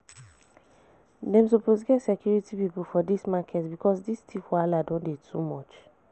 Dem suppose get security people for dis market because dis thief wahala don dey too much